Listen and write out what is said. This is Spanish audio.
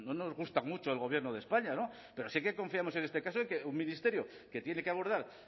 nos gusta mucho el gobierno de españa pero sí que confiamos en este caso en que un ministerio que tiene que abordar